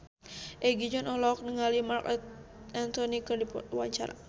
Egi John olohok ningali Marc Anthony keur diwawancara